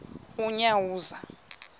unyawuza